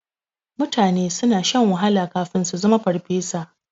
Mutane suna shan wahala kafin su zama farfesa.